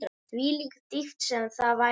Hvílík dýpt sem það væri.